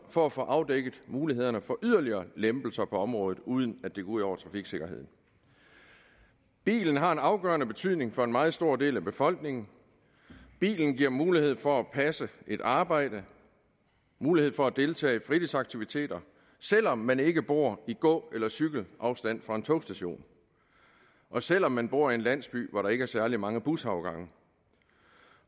for at få afdækket mulighederne for yderligere lempelser på området uden at det går ud over trafiksikkerheden bilen har en afgørende betydning for en meget stor del af befolkningen bilen giver mulighed for at passe et arbejde mulighed for at deltage i fritidsaktiviteter selv om man ikke bor i gå eller cykleafstand fra en togstation og selv om man bor i en landsby hvor der ikke er særlig mange busafgange